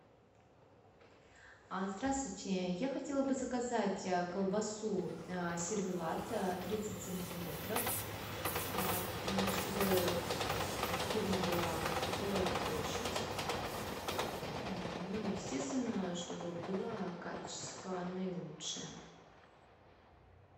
здравствуйте я хотела бы заказать колбасу сервелат тридцать сантиметров чтобы фирма была торговая площадь ну и естественно чтобы было качество наилучшее